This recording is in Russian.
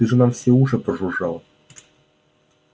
ты же нам все уши прожужжал